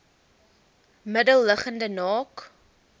middel liggende naak